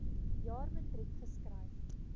jaar matriek geskryf